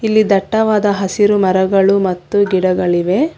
ಇಲ್ಲಿ ದಟ್ಟವಾದ ಹಸಿರು ಮರಗಳು ಮತ್ತು ಗಿಡಗಳಿವೆ.